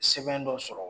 Sɛbɛn dɔ sɔrɔ